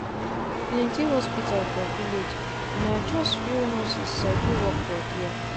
plenty hospital for village na just few nurses sabi work for there